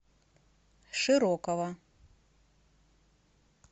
широкова